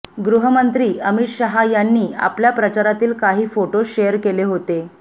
गृहमंत्री अमित शहा यांनी आपल्या प्रचारातील काही फोटो शेअर केले होते